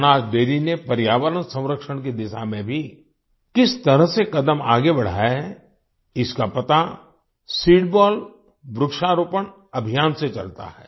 Banas dairy ने पर्यावरण संरक्षण की दिशा में भी किस तरह से कदम आगे बढ़ाया है इसका पता सीडबॉल वृक्षारोपण अभियान से चलता है